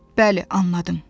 Bəli, anladım.